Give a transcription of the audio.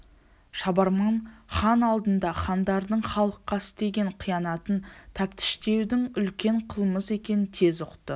шабарман хан алдында хандардың халыққа істеген қиянатын тәптіштеудің үлкен қылмыс екенін тез ұқты